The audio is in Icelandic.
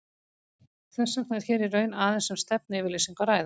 Þess vegna er hér í raun aðeins um stefnuyfirlýsingu að ræða.